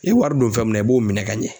I ye wari don fɛn min na i b'o minɛ ka ɲɛ